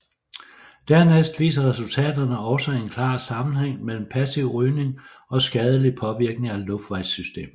Dernæst viser resultaterne også en klar sammenhæng mellem passiv rygning og skadelig påvirkning af luftvejssystemet